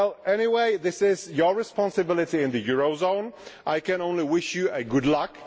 Anyway, this is your responsibility in the eurozone. I can only wish you good luck.